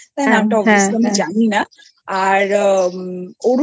নামটা কি আমি জানিনা আর অরুন